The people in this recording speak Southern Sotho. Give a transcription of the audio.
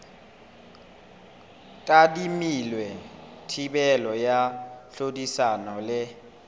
tadimilwe thibelo ya tlhodisano le